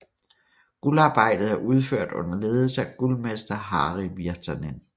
Guldarbejdet er udført under ledelse af guldmester Harri Virtanen